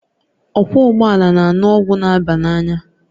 Ọkwọ ụgbọala na-aṅụ ọgwụ na aba n'anya